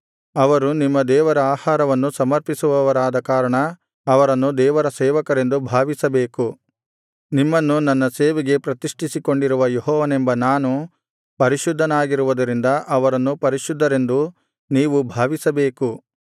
ಅವರು ನಿಮ್ಮ ದೇವರ ಆಹಾರವನ್ನು ಸಮರ್ಪಿಸುವವರಾದ ಕಾರಣ ಅವರನ್ನು ದೇವರ ಸೇವಕರೆಂದು ಭಾವಿಸಬೇಕು ನಿಮ್ಮನ್ನು ನನ್ನ ಸೇವೆಗೆ ಪ್ರತಿಷ್ಠಿಸಿಕೊಂಡಿರುವ ಯೆಹೋವನೆಂಬ ನಾನು ಪರಿಶುದ್ಧನಾಗಿರುವುದರಿಂದ ಅವರನ್ನು ಪರಿಶುದ್ಧರೆಂದು ನೀವು ಭಾವಿಸಬೇಕು